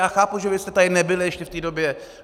Já chápu, že vy jste tady nebyli ještě v té době.